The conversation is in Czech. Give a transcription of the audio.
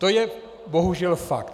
To je bohužel fakt.